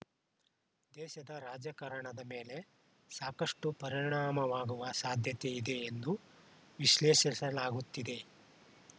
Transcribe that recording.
ದೇಶದ ರಾಜಕಾರಣದ ಮೇಲೆ ಸಾಕಷ್ಟುಪರಿಣಾಮವಾಗುವ ಸಾಧ್ಯತೆ ಇದೆ ಎಂದು ವಿಶ್ಲೇಷಿಸಲಾಗುತ್ತಿದೆ